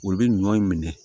Olu bɛ ɲɔ in minɛ